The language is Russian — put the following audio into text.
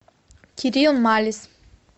кирилл малис